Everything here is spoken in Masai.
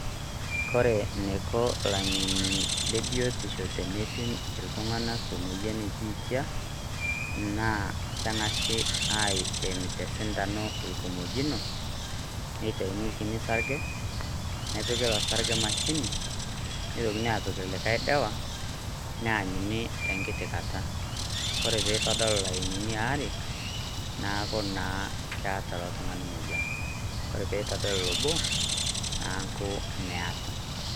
Kore eneiko ilang'eni lebiotisho teneipim iltung'anak emoyian lebiitia naa keng'asi asrem tesindano orkimojino neitauni orkiti sarge nepiki ilo sarge emashini neitokini aapik likae ildawa, neenyuni tenkiti Kata ore peitu idol ilayinini oare naaku naa keeta ilo Tung'ani moyian ore pee etodolu obo neeku meeta.